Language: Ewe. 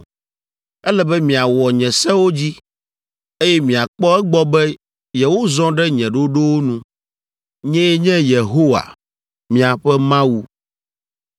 Ele be miawɔ nye sewo dzi, eye miakpɔ egbɔ be yewozɔ ɖe nye ɖoɖowo nu. Nyee nye Yehowa, miaƒe Mawu.